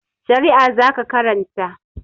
Shari'a za ka karanta!